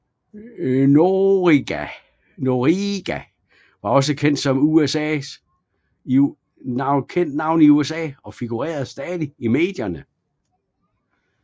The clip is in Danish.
Noriega var et kendt navn i USA og figurerede stadig i medierne